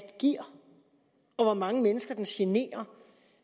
giver og hvor mange mennesker den generer